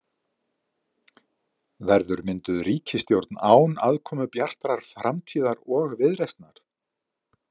Verður mynduð ríkisstjórn án aðkomu Bjartrar framtíðar og Viðreisnar?